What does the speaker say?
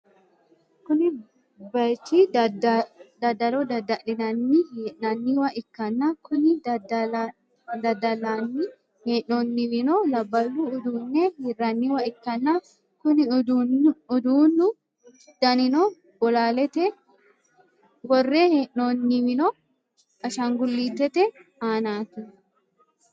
kuni bayichi daddalo dadda'line hee'nanniwa ikkanna, kuni daddallanni hee'noonniwino labballu uduunne hirranniwa ikkanna, kuni uduunnu danino bolaalete, worre hee'noonniwino ashaangullitete aanaati.